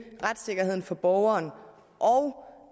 retssikkerheden for borgeren og